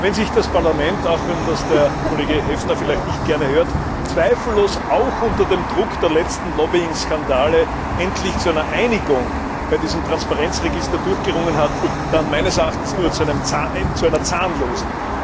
Wenn sich das Parlament, auch wenn das der Kollege Häfner vielleicht nicht gerne hört, zweifellos auch unter dem Druck der letzten Lobbying Skandale, endlich zu einer Einigung bei diesem Transparenzregister durchgerungen hat, dann meines Erachtens nur zu einer zahnlosen.